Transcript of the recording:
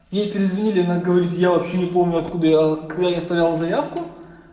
ей перезвонили она говорит я вообще не помню откуда я когда я оставляла заявку